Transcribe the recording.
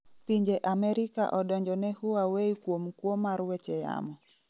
Pinje Amerika odonjo ne Huawei kuom kuo mar weche yamo